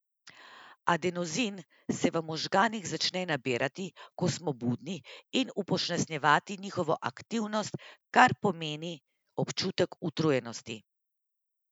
Adenozin se v možganih začne nabirati, ko smo budni, in upočasnjevati njihovo aktivnost, kar povzroči občutek utrujenosti.